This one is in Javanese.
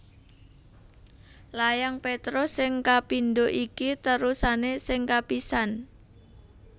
Layang Petrus sing kapindho iki terusané sing kapisan